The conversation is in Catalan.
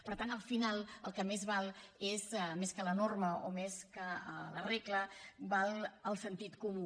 per tant al final el que més val és més que la norma o més que la regla el sentit comú